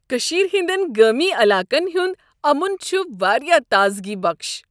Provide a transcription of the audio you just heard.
کشیر ہندین گامی علاقن ہند امن چھ واریاہ تازگی بخش۔